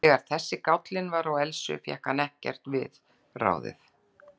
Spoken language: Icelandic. Þegar þessi gállinn var á Elsu fékk hann ekkert við ráðið.